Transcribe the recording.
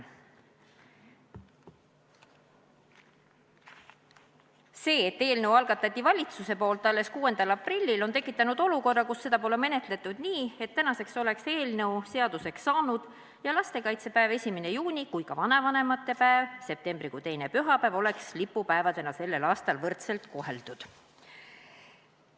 See, et valitsus algatas eelnõu alles 6. aprillil, on tekitanud olukorra, kus eelnõu pole menetletud nii, et tänaseks oleks eelnõu seaduseks saanud ja lastekaitsepäev ehk 1. juuni ja vanavanemate päev, mis on septembrikuu teine pühapäev, oleks lipupäevadena juba tänavu võrdselt koheldud.